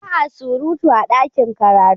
Ba a surutu a ɗakin karatu